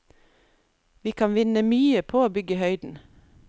Vi kan vinne mye på å bygge i høyden.